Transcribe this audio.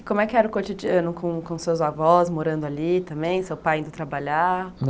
E como é que era o cotidiano com com seus avós morando ali também, seu pai indo trabalhar?